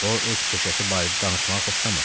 O öz peşəsi barədə danışmağı xoşlamırdı.